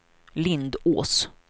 Lindås